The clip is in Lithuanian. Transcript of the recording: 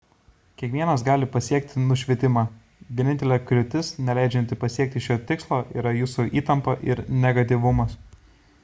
kiekvienas gali pasiekti nušvitimą vienintelė kliūtis neleidžianti pasiekti šio tikslo yra jūsų įtampa ir negatyvumas